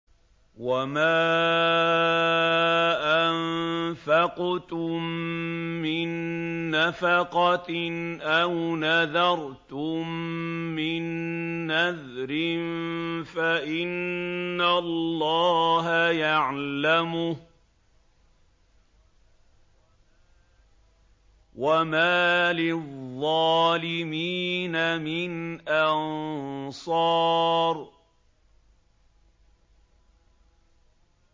وَمَا أَنفَقْتُم مِّن نَّفَقَةٍ أَوْ نَذَرْتُم مِّن نَّذْرٍ فَإِنَّ اللَّهَ يَعْلَمُهُ ۗ وَمَا لِلظَّالِمِينَ مِنْ أَنصَارٍ